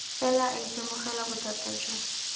fela a itemogela bothata jo